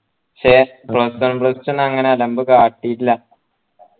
ശ്ശെ plus one plus two ന്നോ അങ്ങനെ അലമ്പ് കാട്ടിട്ടില്ല